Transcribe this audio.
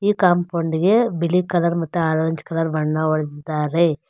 ಈ ಕಾಂಪೌಂಡ್ ಗೆ ಬಿಳಿ ಕಲರ್ ಮತ್ತು ಆರೆಂಜ್ ಕಲರ್ ಬಣ್ಣ ಹೊಡೆದಿದ್ದಾರೆ.